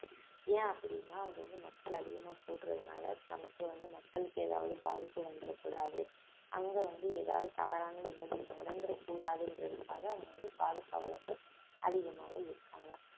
ஏன் அப்படின்னா அங்க வந்து மக்கள் அதிகமா கூடுறதுனால நமக்கு வந்து மக்களுக்கு ஏதாவது பாதிப்பு வந்துரக்கூடாது அங்க வந்து ஏதாவது தவறான நிகழ்வு நடந்திறக்கூடாதுன்றதுக்காக அத வந்து பாதுகாவலர்கள் அதிகமாக இருக்காங்க